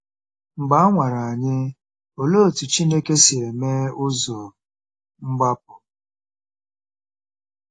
Mgbe a nwara anyị, olee otú Chineke si eme “ụzọ mgbapụ”?